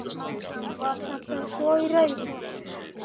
Var þetta svo í raun?